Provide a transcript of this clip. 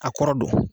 A kɔrɔ don